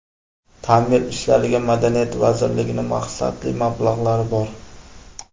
Ta’mir ishlariga Madaniyat vazirligining maqsadli mablag‘lari bor...